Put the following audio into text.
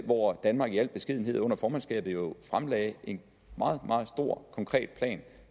hvor danmark i al beskedenhed under formandskabet jo fremlagde en meget meget stor konkret plan